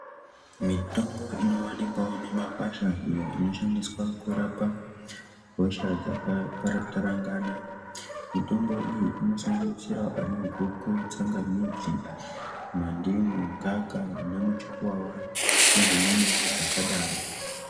Mitombo inoonekwawo mumakwasha iyo inoshandiswa kurapa hosha dzakatarangana mitombo iyi inosanganisira anaguku, tsangamidzi, mandimu, gaka anamuchukuwawa nedzimweni dzakadaro.